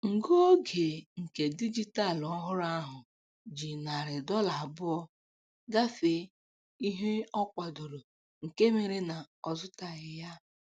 Ngụ oge nke dijitalụ ọhụrụ ahụ ji narị dọla abụọ gafee ihe ọ kwadoro nke mere na ọ zụtalighị ya